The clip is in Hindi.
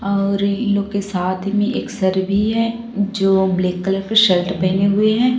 और इस लोग के साथ में एक सर भी है जो ब्लैक कलर के शर्ट पहने हुए हैं।